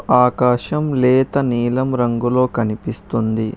ఆకాశం లేత నీలం రంగులో కనిపిస్తుంది.